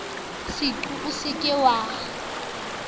seqo o se ke wa